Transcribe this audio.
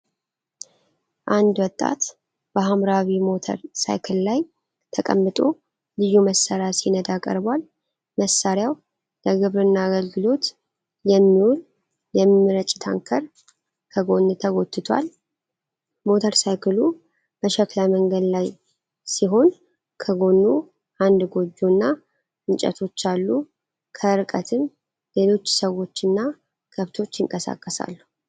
አንድ ወጣት በሀምራዊ ሞተር ሳይክል ላይ ተቀምጦ ልዩ መሣሪያ ሲነዳ ቀርቧል። መሣሪያው ለግብርና አገልግሎት የሚውል የሚረጭ ታንከር ከጎን ተጎትቷል። ሞተር ሳይክሉ በሸክላ መንገድ ላይ ሲሆን፣ ከጎኑ አንድ ጎጆና እንጨቶች አሉ። ከርቀትም ሌሎች ሰዎችና ከብቶች ይንቀሳቀሳሉ።